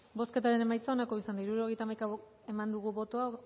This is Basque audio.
bozketaren emaitza onako izan da hirurogeita hamaika eman dugu bozka